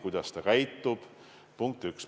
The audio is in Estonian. Punkt üks, me ei tea, kuidas ta käitub.